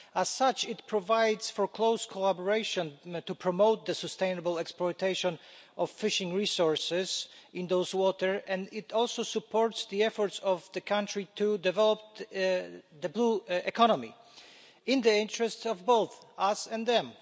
As such, it provides for close collaboration to promote the sustainable exploitation of fishing resources in those waters, and it also supports the efforts of the country to develop the blue economy, in the interests of both us and them.